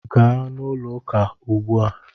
Gaa na ulo uka ugbu a!